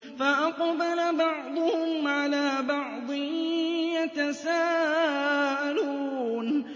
فَأَقْبَلَ بَعْضُهُمْ عَلَىٰ بَعْضٍ يَتَسَاءَلُونَ